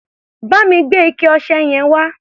Bá mi gbé ike-ọṣẹ yẹn wá.